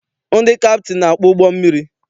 Ndị kaptịnị na-akpụ ụgbọ mmiri.